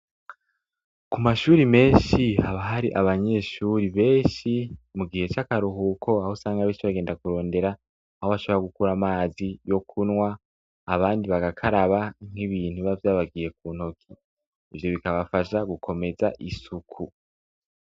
Ku mashuri menshi haba hari abanyeshuri benshi mu gihe c'akaruhuko aho usanga benshi bagenda kurondera aho bashobora gukura amazi yo kunwa abandi bagakaraba nk'ibintu biba vyabagiye ku ntoki ivyo bikabafasha gukomeza isuku.